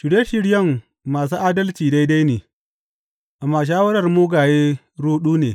Shirye shiryen masu adalci daidai ne, amma shawarar mugaye ruɗu ne.